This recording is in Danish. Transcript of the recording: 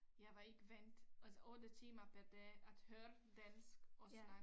Jeg var ikke vandt altså 8 timer per dag at høre dansk og snakke